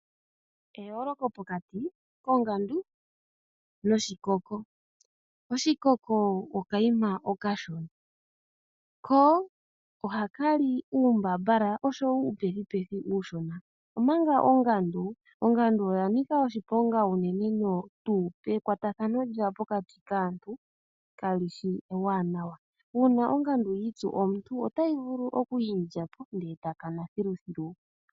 Eyooloko pokati kongandu noshikoko. Oshikoko okayima okashona, ko ohaka li uumbambala oshowo uupethipethi uushona omanga ongandu oya nika oshiponga unene noonkondo. Ekwatathano lyayo pokati naantu kali shi ewanawa. Uuna ongandu yi itsu momuntu otayi vulu okulya po e ta kana thiluthilu.